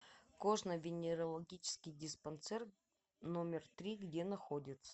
кожно венерологический диспансер номер три где находится